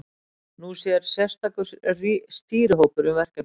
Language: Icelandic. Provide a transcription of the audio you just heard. Nú sér sérstakur stýrihópur um verkefnið.